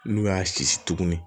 N'u y'a sisi tuguni